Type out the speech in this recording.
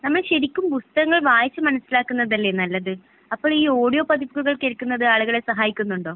നമ്മൾ ശരിക്കും പുസ്തകങ്ങൾ വായിച്ചു മനസ്സിലാക്കുന്നത് അല്ലേ നല്ലത്? അപ്പൊഴ് ഈ ഓഡിയോ പതിപ്പുകൾ കേൾക്കുന്നത് ആളുകളെ സഹായിക്കുന്നുണ്ടോ?